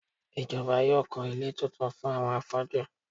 Ìjọba yóò kọ́ ilé tuntun fún àwọn afọ́jú.